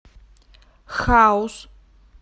хаус